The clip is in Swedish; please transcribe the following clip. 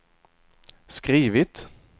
skrivit